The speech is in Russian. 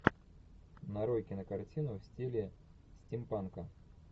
нарой кино картину в стиле стимпанка